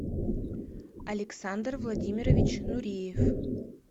александр владимирович нуриев